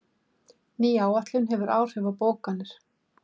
Ný áætlun hefur áhrif á bókanir